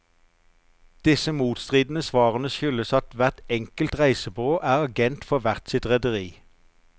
Disse motstridene svarene skyldes at hvert enkelt reisebyrå er agent for hvert sitt rederi.